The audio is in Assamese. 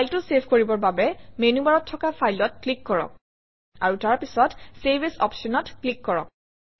ফাইলটো চেভ কৰিবৰ বাবে মেনুবাৰত থকা File অত ক্লিক কৰক আৰু তাৰপিছত চেভ এএছ অপশ্যনত ক্লিক কৰক